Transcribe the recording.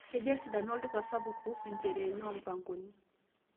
kejaa esidano olduka sapuk kuhusu ncheriani or mpangoni